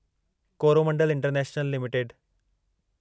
Coromandel international limited